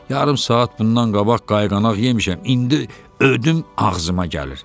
Yarım saat bundan qabaq qayğanaq yemişəm, indi ödüm ağzıma gəlir.